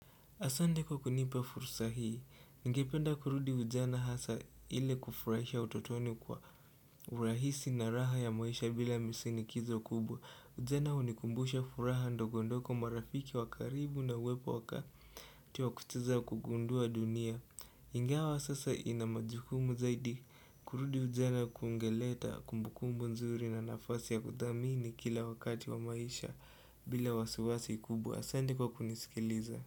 Asante kwa kunipa fursa hii, ningependa kurudi ujana hasa ile kufurahisha utotoni kwa urahisi na raha ya maisha bila misinikizo kubwa Ujana hunikumbusha furaha ndogondogo marafiki wakaribu na uwepo waka wa kucheza na kugundua dunia Ingawa sasa nina majukumu zaidi, kurudi ujana kungeleta kumbukumbu nzuri na nafasi ya kuthamini kila wakati wa maisha bila wasiwasi kubwa Asante kwa kunisikiliza.